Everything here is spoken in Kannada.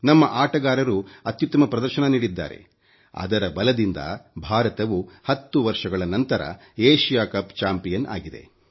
ನಮ್ಮ ಆಟಗಾರರು ಅತ್ಯುತ್ತಮ ಪ್ರದರ್ಶನ ನೀಡಿದ್ದಾರೆ ಅದರ ಬಲದಿಂದ ಭಾರತವು 10 ವರ್ಷಗಳ ನಂತರ ಏಶಿಯ ಕಪ್ ಚಾಂಪಿಯನ್ ಆಗಿದೆ